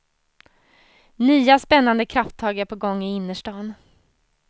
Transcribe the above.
Nya, spännande krafttag är på gång i innerstan.